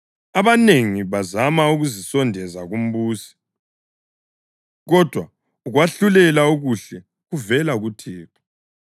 Abanengi bazama ukuzisondeza kumbusi, kodwa ukwahlulela okuhle kuvela kuThixo.